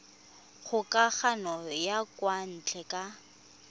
kgokagano ya kwa ntle ka